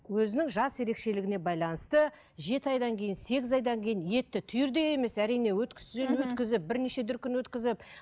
өзінің жас ерекшелігіне байланысты жеті айдан кейін сегіз айдан кейін етті түйірдей емес әрине өткіштен өткізіп бірнеше дүркін өткізіп